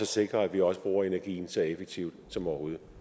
sikre at vi også bruger energien så effektivt som overhovedet